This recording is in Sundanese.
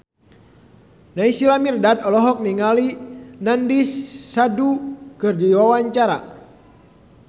Naysila Mirdad olohok ningali Nandish Sandhu keur diwawancara